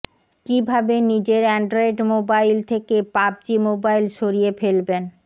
কীভাবে নিজের Android mobile থেকে পাবজি মোবাইল সরিয়ে ফেলবেন